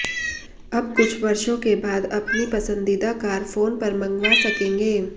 अब कुछ वर्षों बाद अपनी पसंदीदा कार फोन पर मंगवा सकेंगे